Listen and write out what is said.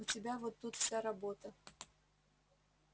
у тебя вот тут вся работа